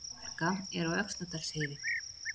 Hálka er á Öxnadalsheiði